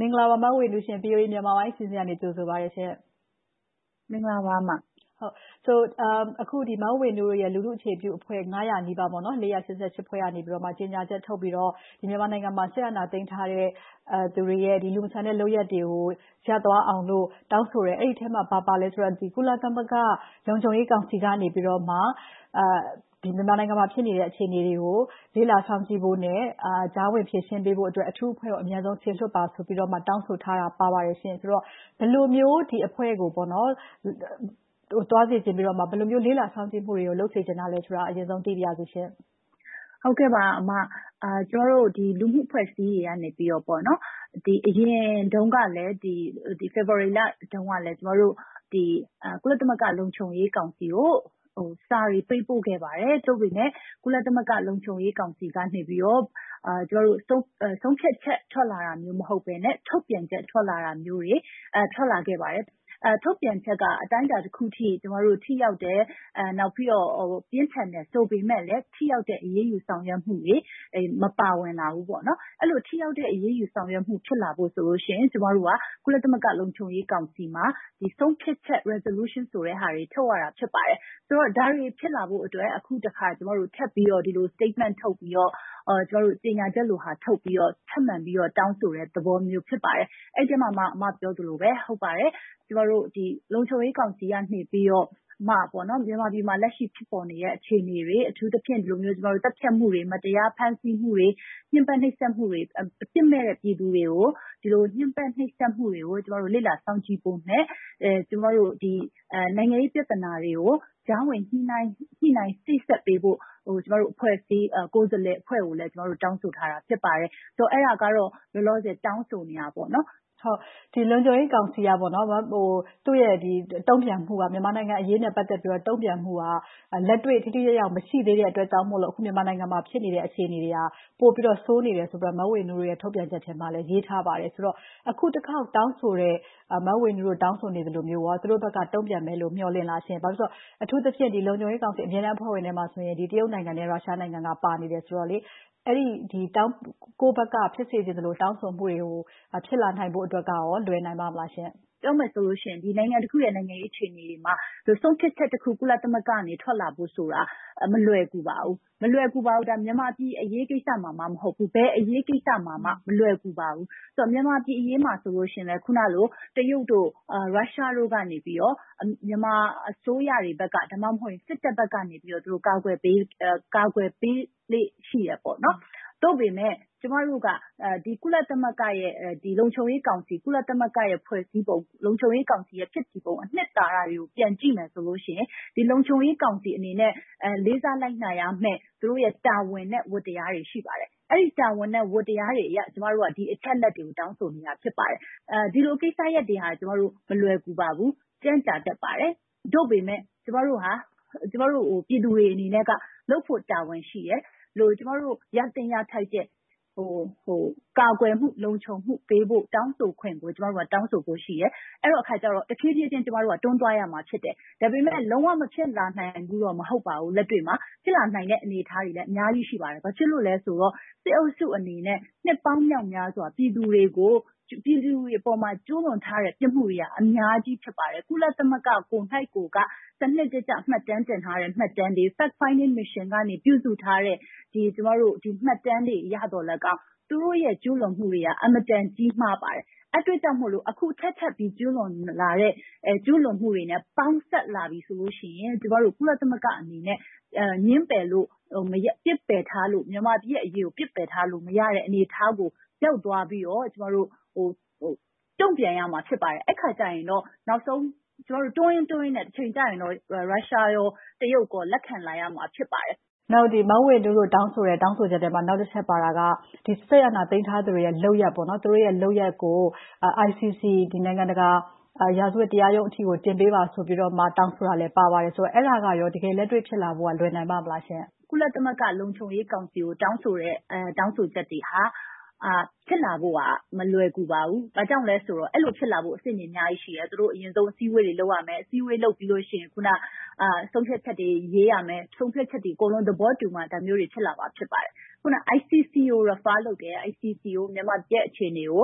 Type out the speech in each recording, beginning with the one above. မင်္ဂလာပါ မဝေဝေနုရှင့်။ VOA မြန်မာပိုင်းအစီအစဉ်က ကြိုဆိုပါတယ်။ အခု မဝေဝေနုတို့ရဲ့ လူထုအခြေပြုအဖွဲ့ ၅၀၀ နီးပါး၊ ၄၈၈ ဖွဲ့ကနေ ကြေငြာထုတ်ပြီးတော့ မြန်မာနိုင်ငံမှာ စစ်အာဏာသိမ်းထားတဲ့သူတွေရဲ့ လူမဆန်တဲ့ လုပ်ရပ်တွေကို ရပ်သွားအောင်လို့ တောင်းဆိုတယ်။ အဲဒီထဲမှာ ဘာပါလဲဆိုတော့ ကုလသမဂ္ဂလုံခြုံရေးကောင်စီကနေ မြန်မာနိုင်ငံမှာ ဖြစ်နေတဲ့ အခြေအနေတွေကို လေ့လာစောင့်ကြည့်ဖို့နဲ့ ကြားဝင်ဖြေရှင်းပေးဖို့အတွက် အထူးအဖွဲ့ကို အမြန်ဆုံး စေလွှတ်ပါဆိုပြီးတော့ တောင်းဆိုထားတာပါပါတယ်။ ဆိုတော့ ဘယ်လိုမျိုး အဲဒီအဖွဲ့ကို သွားစေချင်ပြီးတော့၊ ဘယ်လိုမျိုး လေ့လာစောင့်ကြည့်မှုတွေကို လုပ်စေချင်တာလဲဆိုတာကို သိပါရေစရှင့်။ မင်္ဂလာပါ အမ။ ကျမတို့ လူမှုအဖွဲ့အစည်းတွေက အရင်တုန်းကလဲ ဖေဖေါ်ဝါရီလတုန်းကလဲ ကုလသမဂ္ဂ လုံခြုံရေးကောင်စီကို စာတွေပေးပို့ခဲ့ပါတယ်။ သို့ပေမယ့် ကုလသမဂ္ဂ လုံခြုံရေးကောင်စီကနေ ဆုံးဖြတ်ချက်ထွက်လာတာ မဟုတ်ဘဲနဲ့ ထုတ်ပြန်ချက် ထွက်လာတာမျိုးတွေ ထွက်လာခဲ့ပါတယ်။ ထုတ်ပြန်ချက်က အတိုင်းအတာတခုအထိ ထိရောက်တယ်။ နောက်ပြီးတော့ ပြင်းထန်တယ်ဆိုပေမယ့်လဲ ထိရောက်တဲ့ အရေးယူဆောင်ရွက်မှုတွေ မပါဝင်လာဘူး။ အဲဒီလို ထိရောက်တဲ့ အရေးယူဆောင်ရွက်မှုတွေအတွက်ဆို ကျမတို့က ကုလသမဂ္ဂ လုံခြုံရေးကောင်စီမှာ ဆုံးဖြတ်ချက် resolution ဆိုတဲ့ဟာတွေ ထုတ်ရတာ ဖြစ်ပါတယ်။ ဆိုတော့ ဒါတွေဖြစ်လာဖို့အတွက် အခုတခါ ထပ်ပြီးတော့ statement ထုတ်ပြီးတော့ ကြေငြာချက်လို့ ထုတ်ပြီးတော့ ထပ်မံပြီးတော့ တောင်းဆိုတဲ့သဘောမျိုး ဖြစ်ပါတယ်။ အဲဒီအထဲမှာမှ အမ ပြောသလိုမျိုးပဲ လုံခြုံရေးကောင်စီကနေ မြန်မာပြည်မှာ လက်ရှိဖြစ်ပေါ်နေတဲ့ အခြေအနေတွေ၊ အထူးသဖြင့် သတ်ဖြတ်မှုတွေ၊ မတရားဖမ်းဆီးမှုတွေ၊ ညှဉ်းပမ်းနှိပ်စက်မှုတွေ၊ အပြစ်မဲ့တဲ့ ပြည်သူတွေကို ဒီလိုမျိုး ညှဉ်းပမ်းနှိပ်စက်မှုတွေကို လေ့လာစောင့်ကြည့်ဖို့နဲ့ နိုင်ငံရေးပြဿနာတွေကို ကြားဝင်ညှိနှိုင်စေ့စပ်ပေးဖို့ ကိုယ်စားလှယ်အဖွဲ့ကိုလည်း တောင်းဆိုထားတာ ဖြစ်ပါတယ်။ အဲဒါကတော့ လောလောဆယ် တောင်းဆိုနေပါတယ်။ လုံခြံရေးကောင်စီက သူ့ရဲ့ တုံ့ပြန်မှုက မြန်မာနိုင်ငံအရေးနဲ့ ပတ်သက်ပြီး လက်တွေ့ထိထိရောက်ရောက် မရှိသေးတဲ့အတွက်ကြောင့် အခုမြန်မာနိုင်ငံမှာ ဖြစ်နေတဲ့ အခြေအနေတွေက ပိုပြီးတော့ ဆိုးနေတယ်လို့ မဝေနုတို့ ထုတ်ပြန်ချက်ထဲမှာလည်း ရေးထားပါတယ်။ ဆိုတော့ အခုတခေါက်တောင်းဆိုတဲ့ မဝေနုတို့ တောင်းဆိုနေသလိုမျိုး သူတို့ဘက်က တုံ့ပြန်မယ်လို့ မျှော်လင့်သလား။ ဘာဖြစ်လို့လဲဆိုတော့ အထူးသဖြင့် လုံခြုံရေးကောင်စီ အမြဲတမ်းအဖွဲ့ဝင်ထဲမှာဆို တရုတ်၊ ရုရှားတို့ ပါဝင်နေတယ်ဆိုတော့ ကိုယ့်ဘက်က ဖြစ်စေချင်သလို၊ တောင်းဆိုမှုတွေ ဖြစ်လာနိုင်ဖို့အတွက်က လွယ်နိုင်ပါ့မလား။ ပြောမယ်ဆိုရင်တော့ နိုင်ငံတခုရဲ့ နိုင်ငံရေးအခြေအနေတွေမှာ ဆုံးဖြတ်ချက်တခု ကုလသမဂ္ဂကနေ ထွက်လာဖို့ဆိုတာ မလွယ်ကူပါဘူး။ မြန်မာပြည်အရေးကိစ္စမှာမှ မဟုတ်ဘူး။ ဘယ်အရေးကိစ္စမှာမှ မလွယ်ကူပါဘူး။ မြန်မာပြည်အရေးမှာဆိုလဲ အခုနလို တရုတ်၊ ရုရှားတို့ကနေ မြန်မာအစိုးရတွေဘက်က၊ ဒါမှမဟုတ် စစ်တပ်ဘက်ကနေ ကာကွယ်ပေးနေလေ့ ရှိတယ်။ သို့ပေမဲ့ ကျမတို့က ကုလသမဂ္ဂ လုံခြုံရေးကောင်စီ ကုလသမဂ္ဂရဲ့ ဖွဲ့စည်းပုံ။ လုံခြုံရေးကောင်စီရဲ့ ဖြစ်တည်ပုံ အနှစ်သာရတွေကို ပြန်ကြည့်မယ်ဆိုရင် လုံခြုံရေးကောင်စီအနေနဲ့ လေးစားလိုက်နာရမယ့် သူတို့ရဲ့တာဝန်နဲ့ ဝတ္တရားတွေ ရှိပါတယ်။ အဲဒီတာဝန်နဲ့ ဝတ္တရားတွေအရ ကျမတို့က ဒီအချက်အလက်တွေကို တောင်းဆိုနေတာ ဖြစ်ပါတယ်။ ဒီလိုကိစ္စရပ်တွေက မလွယ်ကူပါဘူး။ ကြန့်ကြာတတ်ပါတယ်။ သို့ပေမယ့် ကျမတို့ဟာ ကျမတို့ပြည်သူတွေအနေနဲ့ လုပ်ရမယ့်တာဝန်ရှိတယ်။ ကျမတို့ ရသင့်ရထိုက်တဲ့ ကာကွယ်မှု၊ လုံခြုံမှုပေးဖို့ တောင်းဆိုခွင့်ကို ကျမတို့က တောင်းဆိုဖို့ရှိတယ်။ အဲဒီအခါကြတော့ တဖြည်းဖြည်းချင်း တွန်းသွားရမှာ ဖြစ်တယ်။ ဒါပေမဲ့ လုံးဝမဖြစ်လာနိုင်ဘူးဆိုတာတော့ မဟုတ်ပါဘူး။ လက်တွေ့မှာ ဖြစ်လာနိုင်တဲ့ အနေအထားတွေလည်း အများကြီးရှိပါတယ်။ ဘာဖြစ်လို့လဲဆိုတော့ စစ်အုပ်စုအနေနဲ့ နှစ်ပေါင်းမြောက်မြားစွာ ပြည်သူတွေအပေါ် ကျူးလွန်ထားတဲ့ ပြစ်မှုတွေက အများကြီး ဖြစ်ပါတယ်။ ကုလသမဂ္ဂကိုယ်တိုင် စနစ်တကျ မှတ်တမ်းတင်ထားတဲ့ မှတ်တမ်းတွေ၊ Fact Finding Mission က ပြုစုထားတဲ့ မှတ်တမ်းတွေအရ သူတို့ရဲ့ ကျူးလွန်မှုတွေက အင်မတန် ကြီးမားပါတယ်။ အဲဒီအတွက်ကြောင့်မို့ အခုထပ်ထပ်ပြီး ကျူးလွန်လာတဲ့ ကျူးလွန်မှုတွေနဲ့ ပေါင်းစပ်လာပြီးဆိုတော့ ကုလသမဂ္ဂအနေနဲ့ ငြင်းပယ်လို့ ပစ်ပယ်ထားလို့ မြန်မာပြည်ရဲ့အရေးကို ပစ်ပယ်ထားလို့ မရတဲ့ အနေအထားကို ရောက်သွားပြီးတော့ တုံ့ပြန်ရမှာ ဖြစ်ပါတယ်။ အဲဒီအခါကြတော့ နောက်ဆုံး တွန်းရင်းတွန်းရင်းနဲ့ တချိန်ကျရင်တော့ ရုရှား၊ တရုတ်တို့ လက်ခံလာရမှာ ဖြစ်ပါတယ်။ မဝေနုတို့ တောင်းဆိုတဲ့ တောင်းဆိုချက်ထဲမှာ နောက်တချက်ပါတာက စစ်အာဏာသိမ်းထားသူတွေရဲ့ လုပ်ရပ်ကို ICC နိုင်ငံတကာရာဇဝတ်တရားရုံးအထိ တင်ပေးပါဆိုပြီးတော တောင်းဆိုတာလည်း ပါပါတယ်။ အဲဒါကရော တကယ်လက်တွေ့ဖြစ်လာဖို့ လွယ်ပါသလား။ ကုလသမဂ္ဂ လုံခြုံရေးကောင်စီကို တောင်းဆိုတဲ့ တောင်းဆိုချက်တွေဟာ ဖြစ်လာဖို့ဟာ မလွယ်ကူပါဘူး။ ဘာကြောင့်လဲဆိုတော့ အဲဒီလို ဖြစ်လာဖို့ အဆင့်တွေ အများကြီးရှိတယ်။ အရင်ဆုံး သူတို့ အစည်းအဝေးတွေ လုပ်ရမယ်။ အစည်းအဝေးလုပ်ပြီးတော့ ဆုံးဖြတ်ချက်တွေ ရေးရမယ်။ ဆုံးဖြတ်ချက်တွေ အကုန်လုံး သဘောတူမှ ဒါမျိုးတွေ ဖြစ်လာမှာ ဖြစ်ပါတယ်။ အခုန ICC ကို Refer လုပ်တယ်။ ICC ကို မြန်မာပြည်ရဲ့ အခြေအနေကို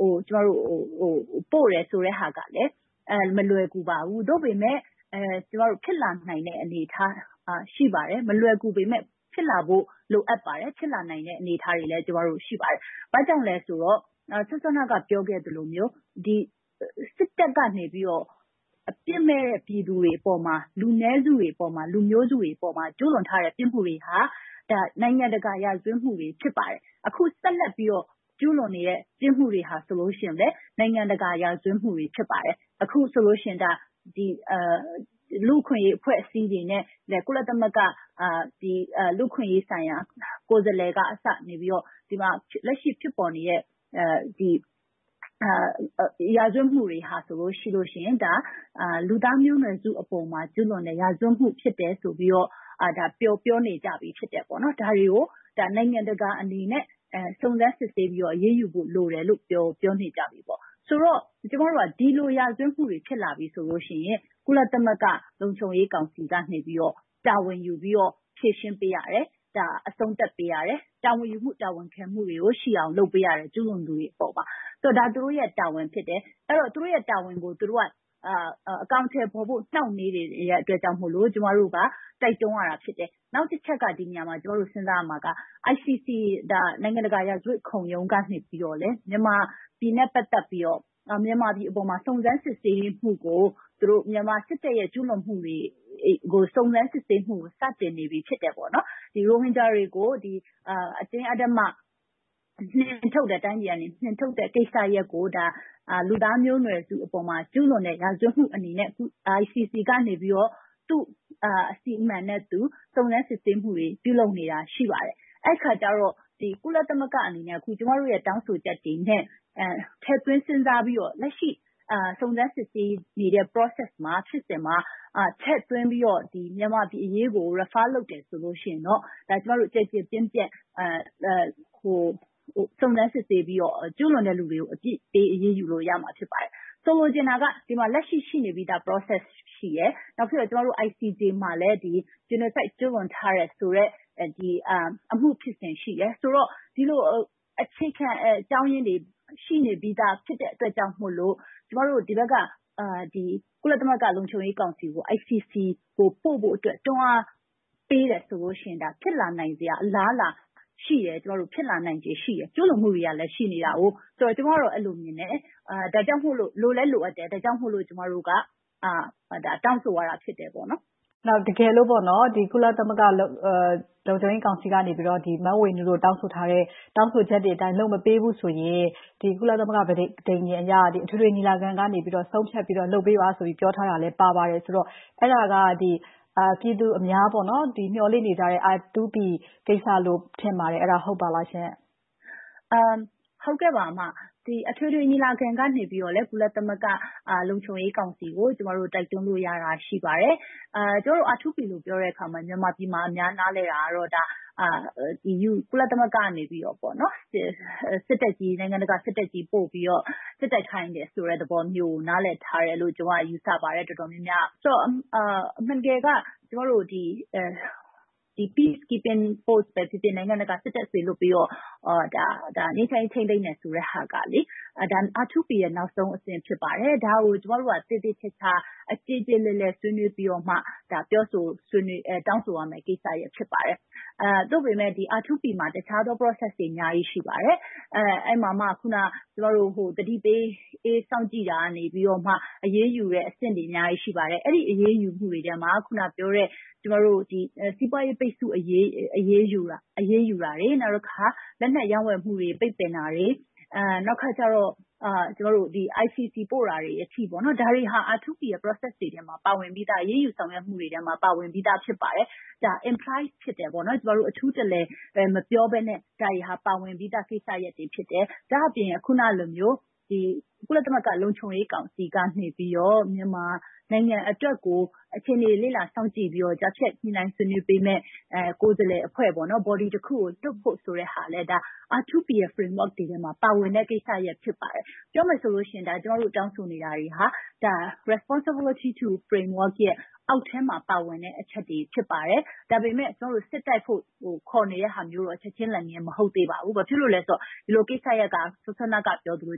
ပို့တယ်ဆိုတဲ့ဟာကလဲ။ မလွယ်ကူပါဘူး။ သို့ပေမဲ့ ဖြစ်လာနိုင်တဲ့ အနေအထားက ရှိပါတယ်။ မလွယ်ကူပေမယ့် ဖြစ်လာဖို့ လိုအပ်ပါတယ်။ ဖြစ်လာနိုင်တဲ့ အနေအထားတွေလည်း ရှိပါတယ်။ ဘာကြောင့်လဲဆိုတော့ စောစောက ပြောခဲ့သလိုမျိုး စစ်တပ်ကနေ အပြစ်မဲ့တဲ့ ပြည်သူတွေအပေါ်မှာ၊ လူနည်းစုတွေအပေါ်၊ လူမျိုးစုတွေအပေါ်မှာ ကျူးလွန်ထားတဲ့ ပြစ်မှုတွေဟာ နိုင်ငံတကာရာဇဝတ်မှုတွေ ဖြစ်ပါတယ်။ အခုဆက်လက်ပြီးတော့ ကျူးလွန်နေတဲ့ ပြစ်မှုတွေဟာလည်း နိုင်ငံတကာရာဇဝတ်မှု ဖြစ်ပါတယ်။ အခုဆိုလို့ရှိရင် လူ့အခွင့်အရေး အဖွဲ့အစည်းတွေနဲ့ ကုလသမဂ္ဂ လူ့အခွင့်အရေးဆိုင်ရာ ကိုယ်စားလှယ်ကအစ ဒီမှာလက်ရှိဖြစ်ပေါ်နေတဲ့ ရာဇဝတ်မှုတွေဟာဆိုရင် ဒါက လူသားမျိုးနွယ်စုအပေါ် ကျူးလွန်တဲ့အမှုတွေ ဖြစ်တယ်လို့ ပြောနေကြပြီဖြစ်တယ်။ ဒါတွေကို နိုင်ငံတကာအနေနဲ့ စုံစမ်းစစ်ဆေးပြီးတော့ အရေးယူဖို့ လိုနေတယ်လို့ ပြောနေကြပြီ။ ဆိုတော့ ကျမတို့က ဒီလိုရာဇဝတ်မှုတွေ ဖြစ်လာပြီဆိုရင် ကုလသမဂ္ဂ လုံခြုံရေးကောင်စီကနေ တာဝန်ယူပြီးတော့ ဖြေရှင်းပေးရတယ်။ အဆုံးသတ်ပေးရတယ်။ တာဝန်ယူမှု တာဝန်ခံမှုတွေကို ရှိအောင်လုပ်ပေးရတယ်။ ကျူးလွန်သူတွေအပေါ်မှာ။ ဒါက သူတို့ရဲ့ တာဝန်ဖြစ်တယ်။ အဲဒီတော့ သူတို့တာဝန်ကို သူတို့က အကောင်အထည်ဖော်ဖို့ နှောင့်နှေးနေတဲ့အတွက်ကြောင့်မို့ ကျမတို့က တိုက်တွန်းရတာ ဖြစ်တယ်။ နောက်တချက်က ဒီနေရာမှာ ကျမတို့ စဉ်းစားရမှာက ICC နိုင်ငံတကာရာဇဝတ်ခုံရုံးကနေ မြန်မာနိုင်ငံနဲ့ ပတ်သက်ပြီးတော့ မြန်မာပြည်အပေါ်မှာ စုံစမ်းစစ်ဆေးမှုကို မြန်မာစစ်တပ်ရဲ့ ကျူးလွန်မှုတွေကို စုံစမ်းစစ်ဆေးမှုတွေကို စတင်စစ်ဆေးနေပြီ ဖြစ်တယ်။ ရိုဟင်ဂျာတွေကို အတင်းအဓမ္မ တိုင်းပြည်ကနေ နှင်ထုတ်ခဲ့တဲ့ကိစ္စရပ်ကို လူသားမျိုးနွယ်စုအပေါ်မှာ ကျူးလွန်တဲ့ ရာဇဝတ်မှုအနေနဲ့ ICC ကနေ သူ့အစီအမံနဲ့သူ စုံစမ်းစစ်ဆေးမှုတွေ ပြုလုပ်နေတာ ရှိပါတယ်။ အဲဒီအခါကြတော့ ကုလသမဂ္ဂအနေနဲ့ ကျမတို့ တောင်းဆိုချက်တွေနဲ့ ထည့်သွင်းစဉ်းစားပြီးတော့ လက်ရှိစုံစမ်းစစ်ဆေးနေတဲ့ Process ဖြစ်စဉ်မှာ ထည့်သွင်းပြီးတော့ မြန်မာပြည်အရေးကို Refer လုပ်တယ်ဆိုရင်တော့ ကျမတို့ ကျယ်ကျယ်ပြန့်ပြန့် စုံစမ်းစစ်ဆေးပြီးတော့ ကျူးလွန်တဲ့လူတွေကို အပြစ်ပေးအရေးယူလို့ ရမှာဖြစ်ပါတယ်။ ဆိုလိုချင်တာက လက်ရှိရှိနေပြီသား Process ရှိတယ်။ နောက်ပြီးတော့ ICJ မှာလည်း Genocide ကျူးလွန်ထားတဲ့ဆိုတဲ့ အမှုဖြစ်စဉ်ရှိတယ်။ ဒီတော့ အခြေခံအကြောင်းရင်းတွေ ရှိနေပြီသား ဖြစ်တဲ့အတွက်ကြောင့်မို့လို့ ကျမတို့ ဒီဘက်က ကုလသမဂ္ဂ လုံခြုံရေးကောင်စီကို ICC ကို ပို့ဖို့အတွက် တွန်းအားပေးတယ်ဆိုလို့ရှိရင် ဖြစ်လာနိုင်စရာ အလားအလာရှိတယ်။ ဖြစ်လာနိုင်ချေရှိတယ်။ ကျူးလွန်မှုတွေကလည်း ရှိနေတယ်ဆိုတော့ ကျမတော့ အဲဒီလိုမျိုး မြင်ပါတယ်။ ဒါကြောင့် လိုလည်းလိုအပ်တယ်။ ဒါကြောင့်မို့ ကျမတို့က တောင်းဆိုရတာ ဖြစ်တယ်။ တကယ်လို့ ကုလသမဂ္ဂ လုံခြုံရေးကောင်စီကနေ မဝေနုတို့ တောင်းဆိုထားတဲ့ တောင်းဆိုချက်တွေအတိုင်း လုပ်မပေးဘူးဆိုရင် ကုလသမဂ္ဂ ပဋိညာဉ်အရ အထွေထွေညီလာခံကန ဆုံးဖြတ်ပြီးတော့ လုပ်ပေးပါဆိုပြီးတော့ ပြောထားတာလည်း ပါပါတယ်ဆိုတော့ အဲဒါက ပြည်သူအများ မျှော်လင့်နေကြတဲ့ R2P ကိစ္စလို့ ထင်ပါတယ်။ အဲဒါ ဟုတ်ပါလားရှင့်။ အထွေထွေညီလာခံကနေ ကုလသမဂ္ဂ လုံခြုံရေးကောင်စီကို ကျမတို့ တိုက်တွန်းလို့ရတာ ရှိပါတယ်။ ကျမတို့ R2P လို့ ပြောတဲ့အခါမှာ မြန်မာပြည်မှာ အများနားလည်တာကတော့ ကုလသမဂ္ဂကနေ စစ်တပ်ကြီး နိုင်ငံတကာစစ်တပ်ကြီး ပို့ပြီးတော့ စစ်တိုက်ခိုင်းတယ်ဆိုတဲ့သဘောမျိုးကို နားလည်ထားတယ်လို့ ကျမ ယူဆပါတယ်။ ဆိုတော့ အမှန်တကယ်က Peace Keeping Force ပဲဖြစ်ဖြစ်၊ နိုင်ငံတကာစစ်တပ်စေလွှတ်ပြီးတော့ ငြိမ်းချမ်းရေးထိန်းသိမ်းတယ်ဆိုတာက R2P ရဲ့ နောက်ဆုံးအဆင့် ဖြစ်ပါတယ်။ ဒါကို ကျမတို့က သေသေချာချာ ကျေကျေလည်လည် ဆွေးနွေးပြီးမှ တောင်းဆိုရမယ့် ကိစ္စရပ် ဖြစ်ပါတယ်။ သို့ပေမဲ့ R2P မှာ အခြားသော Process တွေ အများကြီး ရှိပါတယ်။ အဲဒီမှာမှ သတိပေးစောင့်ကြည့်ရာက၊ အရေးယူတဲ့အဆင့်တွေ အများကြီး ရှိပါတယ်။ အဲဒီအရေးယူမှုတွေထဲမှာ အခုနပြောတဲ့ စီးပွားရေးပိတ်စို့အရေးယူတာတွေ။ နောက်တခါ လက်နက်ရောင်းဝယ်မှုတွေ ပိတ်ပင်တာတွေ။ နောက်တခါကြတော့ ICC ပို့တာတွေအထိ ဒါတွေက R2P Process တွေထဲမှာ ပါပါတယ်။ အရေးယူဆောင်ရွက်မှုတွေထဲမှာ ပါဝင်ပြီသား ဖြစ်ပါတယ်။ ဒါက Imply ဖြစ်တယ်။ အထူးတလည် မပြောဘဲနဲ့ ဒါတွေက ပါဝင်ပြီးသာကိစ္စရပ်တွေ ဖြစ်တယ်။ ဒါ့အပြင် အခုနလိုမျိုး ကုလသမဂ္ဂ လုံခြုံရေးကောင်စီကနေ မြန်မာနိုင်ငံအတွက်ကို အခြေအနေတွေ လေ့လာစောင့်ကြည့်ပြီးတော့ ကြားဖြတ်ညှိနှိုင်းဆွေးနွေးပေးမယ့် ကိုယ်စားလှယ်အဖွဲ့ Body တခုကို လွှတ်ဖို့ဆိုတဲ့ဟာကလဲ R2P ရဲ့ Framework ထဲမှာ ပါဝင်တဲ့ကိစ္စရပ် ဖြစ်ပါတယ်။ ပြောမယ်ဆိုရင် ကျမတို့ တောင်းဆိုနေတာတွေဟာ Responsible to Framework အောက်ထဲမှာ ပါဝင်တဲ့ အချက်တွေ ဖြစ်ပါတယ်။ ဒါပေမဲ့ ကျမတို့ စစ်တိုက်ဖို့ ခေါ်နေတဲ့ဟာမျိုးတော့ ချက်ချင်းလက်ငင်း မဟုတ်သေးပါဘူး။ ဘာဖြစ်လို့လဲဆိုတော့ ဒီလိုကိစ္စရပ်က အခုနကပြောသလို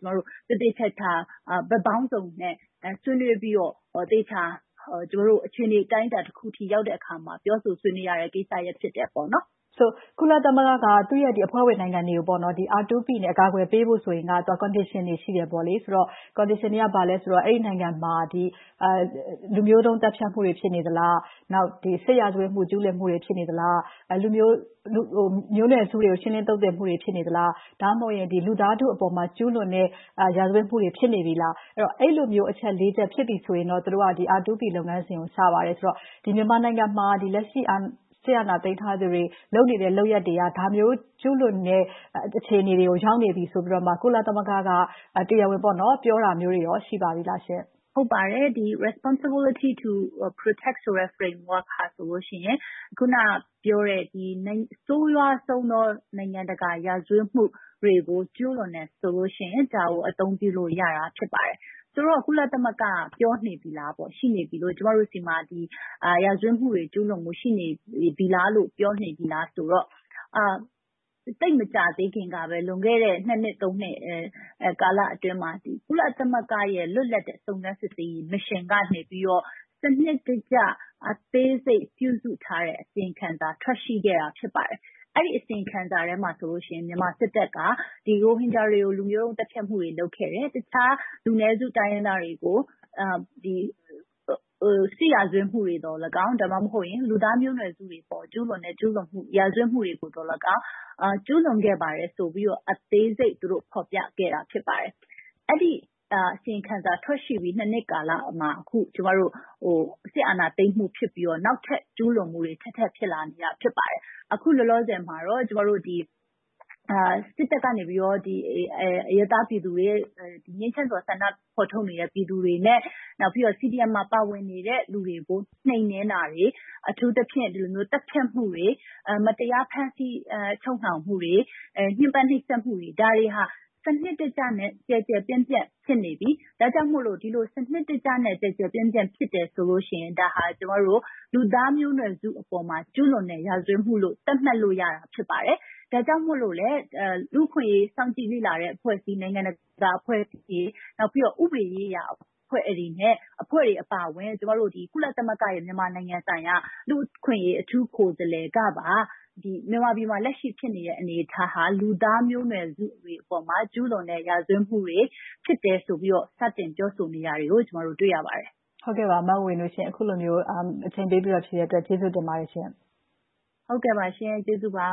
သေသေချာချာ ဘက်ပေါင်းစုံနဲ့ ဆွေးနွေးပြီးတော့ သေချာအခြေအနေ အတိုင်းအတာတခုအထိ ရောက်တဲ့အခါမှာ ပြောဆိုဆွေးနွေးရမယ့် ကိစ္စရပ် ဖြစ်တယ်။ ဆိုတော့ ကုလသမဂ္ဂက သူ့ရဲ့အဖွဲ့ဝင်နိုင်ငံတွေကို R2P နဲ့ အကာအကွယ်ပေးဖို့ဆိုရင် Condition တွေ ရှိတယ်ပေါ့။ အဲဒီအခြေအနေ လိုအပ်ချက်တွေက ဘာလဲဆိုတော့ အဲဒီနိုင်ငံမှာ လူမျိုးတုန်းသတ်ဖြတ်မှုတွေ ဖြစ်နေသလား။ နောက် စစ်ရာဇဝတ်မှု ကျူးလွန်မှုတွေ ဖြစ်နေသလား။ မျိုးနွယ်စုတွေကို ရှင်းလင်းသုတ်သင်မှုတွေ ဖြစ်နေသလား။ ဒါမှမဟုတ် လူသားထုအပေါ်မှာ ကျူးလွန်တဲ့ ရာဇဝတ်မှုတွေ ဖြစ်နေပြီလား။ အဲဒီလိုမျိုး အချက် ချက် ဖြစ်ပြီဆိုရင်တော့ သူတို့က R2P လုပ်ငန်းစဉ်ကို စပါတယ်ဆိုတော့ မြန်မာနိုင်ငံမှာ လက်ရှိ စစ်အာဏာသိမ်းထားသူတွေ လုပ်နေတဲ့ လုပ်ရပ်တွေက ဒါမျိုးကျူးလွန်တဲ့ အခြေအနေတွေကို ရောက်နေပြီဆိုပြီးတော့ ကုလသမဂ္ဂက တရားဝင်ပြောတာမျိုးတွေ ရှိပါပြီလားရှင့်။ ဟုတ်ပါတယ်။ Responsibility to Protect ဆိုတဲ့ Framework က ဆိုရင် အခုနပြောတဲ့ ဆိုးဝါးဆုံးသော နိုင်ငံတကာရာဇဝတ်မှုတွေကို ကျူးလွန်တယ်ဆိုလို့ရှိရင် ဒါကို အသုံးပြုလို့ရတာ ဖြစ်ပါတယ်။ ဆိုတော့ ကုလသမဂ္ဂ ပြောနေပြီလား၊ ရှိနေပြီလို့ ကျမတို့ဆီမှာ ရာဇဝတ်မှုတွေ ကျူးလွန်ပြီလားလို့ ပြောနေပြီလားဆိုတော့ သိပ်မကြာသေးခင်ကပဲ လွန်ခဲ့တဲ့ နှစ် နှစ် ကာလအတွင်းမှာ ကုလသမဂ္ဂရဲ့ လွတ်လပ်တဲ့ စုံစမ်းစစ်ဆေးရေးကော်မရှင်ကနေ စနစ်တကျ အသေးစိတ်ပြုစုထားတဲ့ အစီရင်ခံစာ ထွက်ရှိခဲ့တာ ရှိပါတယ်။ အဲဒီအစီရင်ခံစာထဲမှာဆိုရင် မြန်မာစစ်တပ်ကနေ ရိုဟင်ဂျာတွေကို လူမျိုးတုန်းသတ်ဖြတ်မှုတွေ လုပ်ခဲ့တယ်။ တခြားလူနည်းစု တိုင်းရင်းသားတွေကို စစ်ရာဇဝတ်မှုတွေသော်လည်းကောင်း ဒါမှမဟုတ် လူသားမျိုးနွယ်စုတွေ ကျူးလွန်တဲ့ ကျူးလွန်တဲ့ ရာဇဝတ်မှုတွေကိုသော်လည်းကောင်း ကျူးလွန်ခဲ့ပါတယ်ဆိုပြီးတော့ အသေးစိတ်ဖော်ပြခဲ့တာ ဖြစ်ပါတယ်။ အဲဒီအစီရင်ခံစာ ထွက်ရှိခဲ့ပြီး နှစ်ကာလမှာ အခု စစ်အာဏာသိမ်းမှု ဖြစ်ပြီးတော့ နောက်ထပ်ကျူးလွန်မှုတွေ ထပ်ထပ်ပြီးတော့ ဖြစ်လာခဲ့တာ ဖြစ်ပါတယ်။ အခုလောလောဆယ်မှာတော့ စစ်တပ်ကနေ အရပ်သားပြည်သူတွေရဲ့ ငြိမ်းချမ်းစွာဆန္ဒဖော်ထုတ်နေတဲ့ ပြည်သူတွေနဲ့ နောက်ပြီးတော့ CDM မှာ ပါဝင်နေတဲ့ လူတွေကို နှိမ်နင်းတာတွေ။ အထူးသဖြင့် သတ်ဖြတ်မှုတွေ၊ မတရားဖမ်းဆီးချုပ်နှောင်မှုတွေ၊ ညှဉ်းပမ်းနှိပ်စက်မှုတွေ ဒါတွေဟာ စနစ်တကျနဲ့ ကျယ်ကျယ်ပြန့်ပြန့် ဖြစ်နေပြီ။ ဒါကြောင့်မို့ ဒီလိုစနစ်တကျနဲ့ ကျယ်ကျယ်ပြန့်ပြန့် ဖြစ်တယ်ဆိုလို့ရှိရင် ဒါဟာ လူသားမျိုးနွယ်စုအပေါ်မှာ ကျူးလွန်တဲ့ ရာဇဝတ်မှုလို့ သတ်မှတ်လို့ ရပါတယ်။ ဒါကြောင့်မို့လို့လဲ လူ့အခွင့်အရေး စောင့်ကြည်တဲ့အဖွဲ့အစည်းတွေ၊ နိုင်ငံတကာအဖွဲ့အစည်းတွေ၊ ဥပဒေရေးရာအဖွဲ့တွေနဲ့ အဖွဲ့တွေအပါအဝင် ကုလသမဂ္ဂရဲ့ မြန်မာနိုင်ငံဆိုင်ရာ လူ့အခွင့်အရေး အထူးကိုယ်စားလှယ်ကပါ မြန်မာနိုင်ငံမှာ လက်ရှိဖြစ်နေတဲ့ အနေအထားဟာ လူသားမျိုးနွယ်စုတွေအပေါ် ကျူးလွန်တဲ့ ရာဇဝတ်မှုတွေ ဖြစ်တယ်ဆိုပြီးတော့ စတင်ပြောဆိုနေတာတွေကို တွေ့ရပါတယ်။ အခုလိုမျိုး အချိန်ပေးပြီး ဖြေကြားပေးတဲ့အတွက် ကျေးဇူးတင်ပါတယ်ရှင့်။ ဟုတ်ကဲ့ပါ။ ကျေးဇူးတင်ပါ